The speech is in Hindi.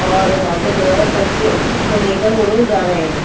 और वहाँ पर जो है बच्चे को लेकर वो लोग जा रहे हैं।